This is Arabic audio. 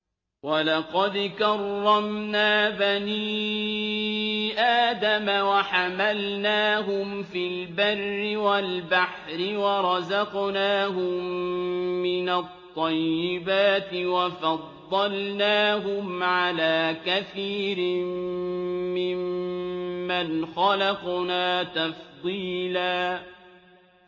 ۞ وَلَقَدْ كَرَّمْنَا بَنِي آدَمَ وَحَمَلْنَاهُمْ فِي الْبَرِّ وَالْبَحْرِ وَرَزَقْنَاهُم مِّنَ الطَّيِّبَاتِ وَفَضَّلْنَاهُمْ عَلَىٰ كَثِيرٍ مِّمَّنْ خَلَقْنَا تَفْضِيلًا